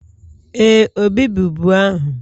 Ee, Obi bụ bu ahụ